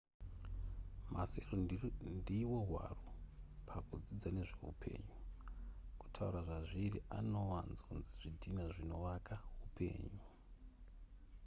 masero ndiwo hwaro pakudzidza nezve upenyu kutaura zvazviri anowanzonzi zvidhina zvinowaka upenyu